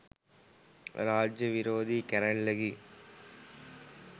රාජ්‍ය විරෝධී කැරැල්ලකි